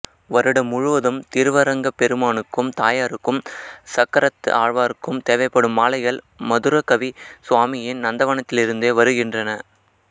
வருடம் முழுவதும் திருவரங்கப் பெருமானுக்கும் தாயாருக்கும் சக்கரத்து ஆழ்வாருக்கும் தேவைப்படும் மாலைகள் மதுரகவி சுவாமியின் நந்தவனத்திலிருந்தே வருகின்றன